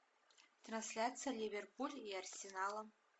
трансляция ливерпуль и арсенала